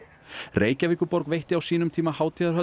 Reykjavíkurborg veitti á sínum tíma